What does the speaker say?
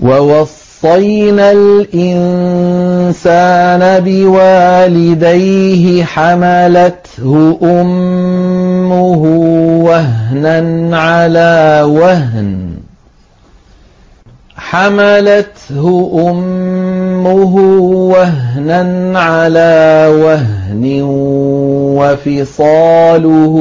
وَوَصَّيْنَا الْإِنسَانَ بِوَالِدَيْهِ حَمَلَتْهُ أُمُّهُ وَهْنًا عَلَىٰ وَهْنٍ وَفِصَالُهُ